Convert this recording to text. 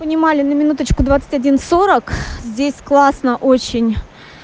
понимали на минуточку двадцать один сорок здесь классно очень